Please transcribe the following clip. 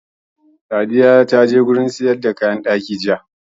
Sadiya ta je wurin sayar da kayan ɗaki